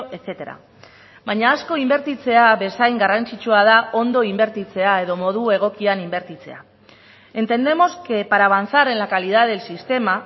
etcétera baina asko inbertitzea bezain garrantzitsua da ondo inbertitzea edo modu egokian inbertitzea entendemos que para avanzar en la calidad del sistema